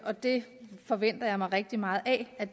og det forventer jeg mig rigtig meget af